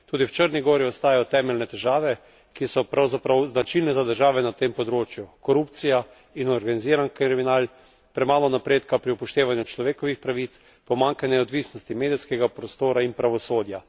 Tudi v Črni gori ostajajo temeljne težave, ki so pravzaprav značilne za države na tem področju korupcija in organiziran kriminal, premalo napredka pri upoštevanju človekovih pravic, pomanjkanje neodvisnosti medijskega prostora in pravosodja.